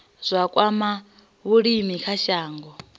zwa kwama vhulimi kha shango